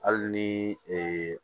Hali ni ee